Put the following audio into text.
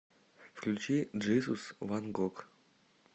включи джизус ван гог